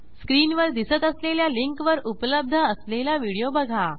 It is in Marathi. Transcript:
स्क्रीनवर दिसत असलेल्या लिंकवर उपलब्ध असलेला व्हिडिओ बघा